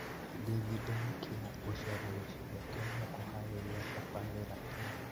David Nkya gũcera gĩcigo kĩu na kũharĩrĩria tabarĩra ĩno